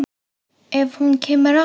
Ef hún kemur aftur.